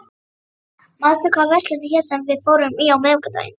Kata, manstu hvað verslunin hét sem við fórum í á miðvikudaginn?